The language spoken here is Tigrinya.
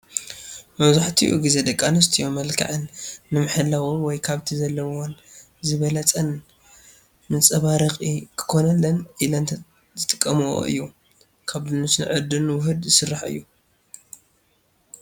ማብዛሕቲኡ ግዜ ደቂ ኣንስትዮ መልከዐን ንምሕላው ወይ ካብቲ ዘለዎን ዝበለፀን ምፀባረቂ ክኮነለን ኢለን ዝጥቀመኦ እዩ። ካብ ዱንሽን ዕርድን ውሁድ ዝስራሕ እዩ።